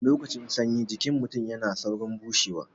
Lokacin sanyi jikin mutun yana saurin bushewa